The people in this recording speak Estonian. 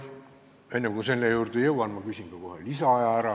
Enne kui selle juurde jõuan, ma küsin ka kohe lisaaja ära.